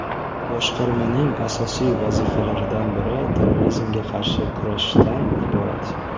Boshqarmaning asosiy vazifalaridan biri terrorizmga qarshi kurashishdan iborat.